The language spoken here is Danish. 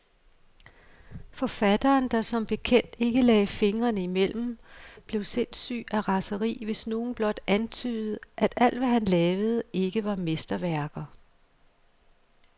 Forfatteren, der som bekendt ikke lagde fingrene imellem, blev sindssyg af raseri, hvis nogen blot antydede, at alt, hvad han lavede, ikke var mesterværker.